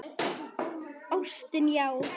Ástin, já!